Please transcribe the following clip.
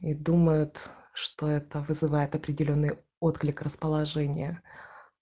и думают что это вызывает определённые отклик расположения